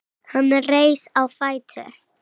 Hann reis á fætur.